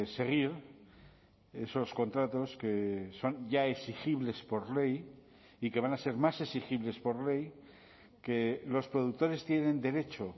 seguir esos contratos que son ya exigibles por ley y que van a ser más exigibles por ley que los productores tienen derecho